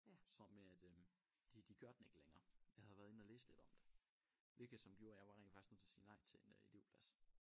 Så med at øh de de gør den ikke længere jeg havde været inde og læse lidt om det hvilket som gjorde at jeg var rent faktisk nødt til at sige nej til en elevplads